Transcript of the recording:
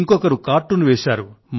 ఇంకొకరు కార్టూన్ వేశారు